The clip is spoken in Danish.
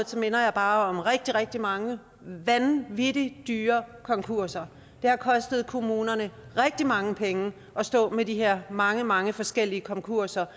minder jeg bare om at rigtig rigtig mange vanvittig dyre konkurser det har kostet kommunerne rigtig mange penge at stå med de her mange mange forskellige konkurser